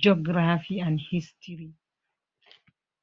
googirafi an histiri.